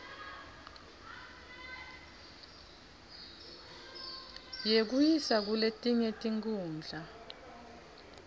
yekuyiswa kuletinye tikhundla